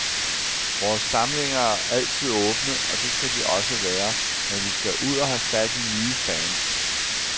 Vores samlinger er altid åbne, og det skal de også være, men vi skal ud og have fat i nye fans.